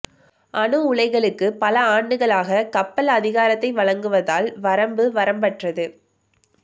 அணு உலைகளுக்கு பல ஆண்டுகளாக கப்பல் அதிகாரத்தை வழங்குவதால் வரம்பு வரம்பற்றது